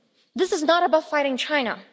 This is not about fighting China.